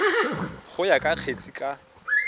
go ya ka kgetse ka